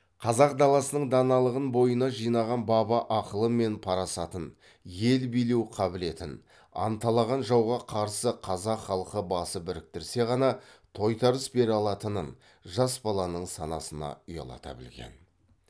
қазақ даласының даналығын бойына жинаған баба ақылы мен парасатын ел билеу қабілетін анталаған жауға қарсы қазақ халқы басы біріктірсе ғана тойтарыс бере алатынын жас баланың санасына ұялата білген